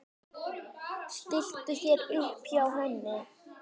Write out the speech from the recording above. Stilltu þér upp hjá henni.